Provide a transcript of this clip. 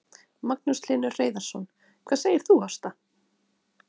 Magnús Hlynur Hreiðarsson: Hvað segir þú Ásta?